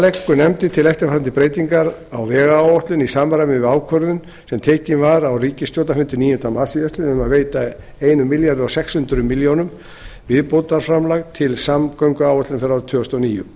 leggur nefndin til eftirfarandi breytingar á vegáætlun í samræmi við ákvörðun sem tekin var á ríkisstjórnarfundi níunda mars síðastliðinn um að veita sextán hundruð milljóna króna viðbótarframlag til samgönguáætlunar fyrir árið tvö þúsund og níu